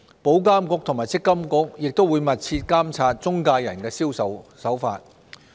保監局和積金局亦會密切監察中介人的銷售手法。